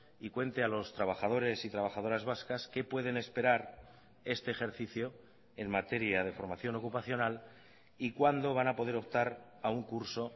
y cuente a los trabajadores y trabajadoras vascas qué pueden esperar este ejercicio en materia de formación ocupacional y cuándo van a poder optar a un curso